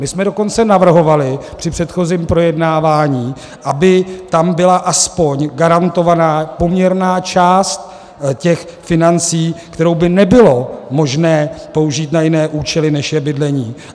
My jsme dokonce navrhovali při předchozím projednávání, aby tam byla aspoň garantovaná poměrná část těch financí, kterou by nebylo možné použít na jiné účely, než je bydlení.